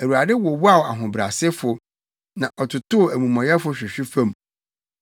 Awurade wowaw ahobrɛasefo na ɔtotow amumɔyɛfo hwehwe fam.